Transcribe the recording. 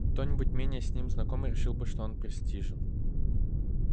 кто-нибудь менее с ним знакомый решил бы что он престижен